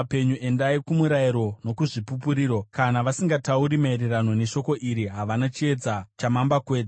Endai kumurayiro nokuzvipupuriro! Kana vasingatauri maererano neshoko iri havana chiedza chamambakwedza.